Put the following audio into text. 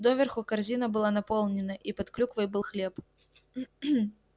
доверху корзина была наполнена и под клюквой был хлеб